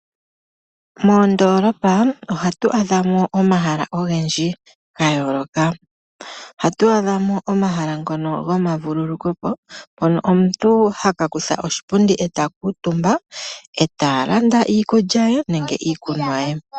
Moondoolopa ohatu adha mo omahala ogendji ga yooloka. Ohatu adha mo omahala ngono gomavululukwe po, mono omuntu haka kutha oshipundi eta kutumba, eta landa iikulya ye nenge iikunwa ye.